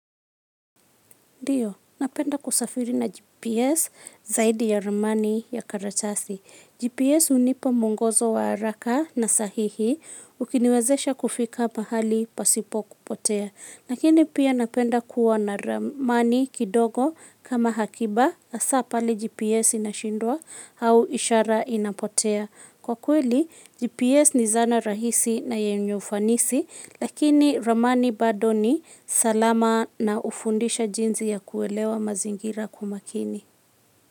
Napenda kusafiri na GPS zaidi ya ramani ya karatasi. GPS hunipa mwongozo wa haraka na sahihi ukiniwezesha kufika pahali pasipo kupotea. Lakini pia napenda kuwa na ramani kidogo kama hakiba hasaa pale GPS inashindwa au ishara inapotea. Kwa kweli, GPS ni zana rahisi na yenye ufanisi, lakini ramani bado ni salama na hufundisha jinzi ya kuelewa mazingira kwa umakini.